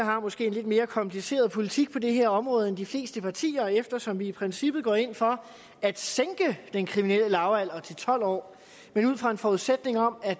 måske har en lidt mere kompleks politik på det her område end de fleste partier eftersom vi i princippet går ind for at sænke den kriminelle lavalder til tolv år men ud fra en forudsætning om at